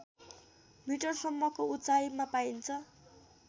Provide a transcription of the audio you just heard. मिटरसम्मको उचाइमा पाइन्छ